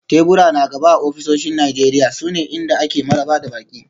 Tebura na gaba a ofisoshin Najeriya sune inda ake maraba da baƙi.